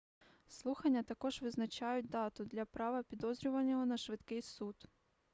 слухання також визначають дату для права підозрюваного на швидкий суд